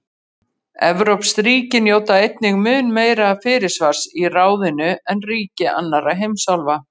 evrópsk ríki njóta einnig mun meira fyrirsvars í ráðinu en ríki annarra heimsálfa